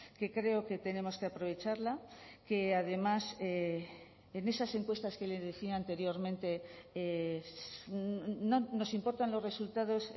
que creo que tenemos que aprovecharla que además en esas encuestas que le decía anteriormente nos importan los resultados